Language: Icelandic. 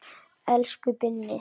Elsku Binni.